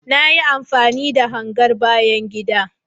Na yi amfani da hangar bayan gida